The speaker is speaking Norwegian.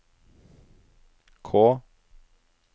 K